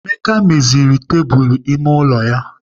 Emeka meziri tebụl ime ụlọ ya.